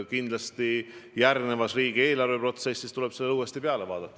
Kindlasti järgmises riigieelarveprotsessis tuleb sellele eesmärgile uuesti otsa vaadata.